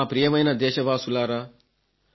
నా ప్రియమైన దేశవాసులారా